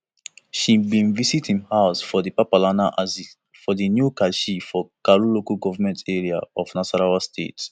she bin visit im house for di papalana axis for new karshi for karu local goment area of nasarawa state